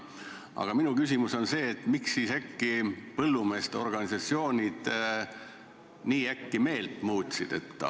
Aga minu küsimus on see: miks siis põllumeeste organisatsioonid nii äkki meelt muutsid?